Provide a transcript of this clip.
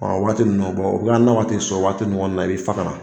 Ɔn o waati nunnu na, u na waati sɔrɔ waati ɲɔgɔn na i bi fa ka na